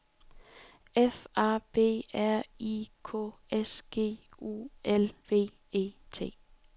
F A B R I K S G U L V E T